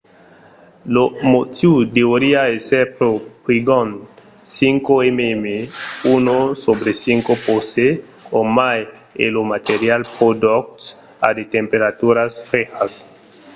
lo motiu deuriá èsser pro prigond 5 mm 1/5 poce o mai e lo material pro doç a de temperaturas frejas